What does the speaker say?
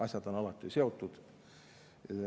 Asjad on alati seotud.